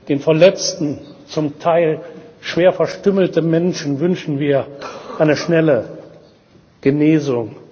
Den verletzten, zum Teil schwer verstümmelten Menschen wünschen wir eine schnelle Genesung.